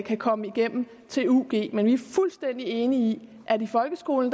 kan komme igennem til ug men vi er fuldstændig enige i at i folkeskolen